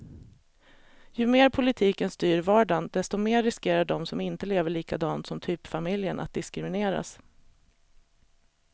Ju mer politiken styr vardagen, desto mer riskerar de som inte lever likadant som typfamiljen att diskrimineras.